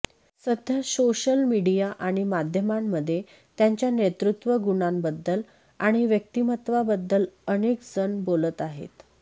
सध्या social media आणि माध्यमांमध्ये त्यांच्या नेतृत्व गुणांबद्ल आणि व्यक्तिमत्त्वांबद्दल अनेक जण बोलत आहेत